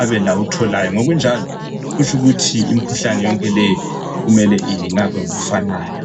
athole kuphi ngokunjalo kumele imikhuhlane yonke leyo ilatshwe ngokufanayo.